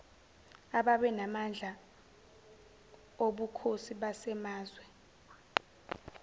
ababenamandla obukhosi basemazwe